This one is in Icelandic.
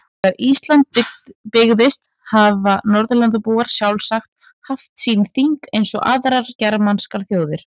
Þegar Ísland byggðist hafa Norðurlandabúar sjálfsagt haft sín þing eins og aðrar germanskar þjóðir.